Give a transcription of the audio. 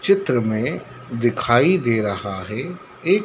चित्र मे दिखाई दे रहा है एक--